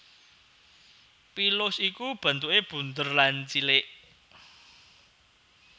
Pilus iku bentukè bunder lan cilik